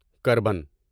carbon